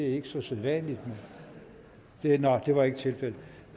er ikke så sædvanligt nå det var ikke tilfældet